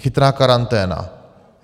Chytrá karanténa.